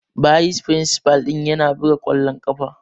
Bayis firinsifal ɗin yana buga kwallon kafa.